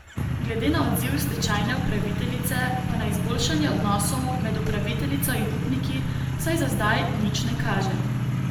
Glede na odziv stečajne upraviteljice pa na izboljšanje odnosov med upraviteljico in upniki vsaj za zdaj nič ne kaže.